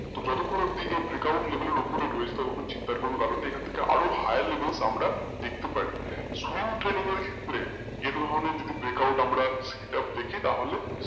তো যতক্ষণ অব্দি এর break out level অব্দি রয়েছে ততক্ষণ চিন্তার কোনো কারন নেই এখান থেকে আরও higher level এ আমরা দেখতে পারি ক্ষেত্রে এই ধরনের break out যদি আমরা এটা দেখি তাহলে,